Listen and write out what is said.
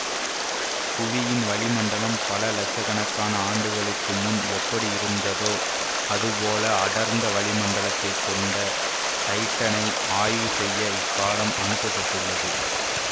புவியின் வளி மண்டலம் பல இலட்சக்கணக்காண ஆண்டுகளுக்கு முன் எப்படி இருந்ததோ அது போல அடர்ந்த வளிமண்டலத்தைக் கொண்ட டைட்டனை ஆய்வு செய்ய இக்காலம் அனுப்ப பட்டுள்ளது